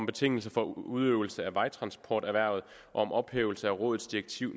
betingelser for udøvelse af vejtransporterhvervet og om ophævelse af rådets direktiv